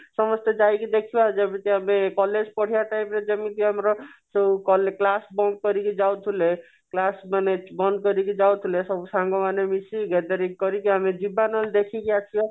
ସମସ୍ତେ ଯାଇକି ଦେଖିବା ଆଉ ଯଦି କହିବି college ପଢିବା time ରେ ଯେମିତି ଆମର ସେଇ କଲେ class ବନ୍ଦ କରିକି ଯାଉଥିଲେ କ୍ଲାସ ମାନେ ବନ୍ଦ କରିକି ଯାଉଥିଲେ ସବୁ ସାଙ୍ଗମାନେ ମିସିକି gathering କରିକି ଆମେ ଯିବା ନହଲେ ଦେଖିକି ଆସିବା